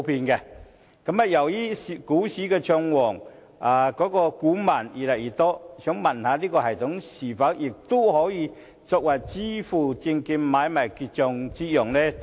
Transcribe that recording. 由於股市暢旺，股民越來越多，請問這系統是否也可用作證券買賣結帳？